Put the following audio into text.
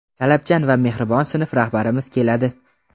talabchan va mehribon sinf rahbarimiz keladi.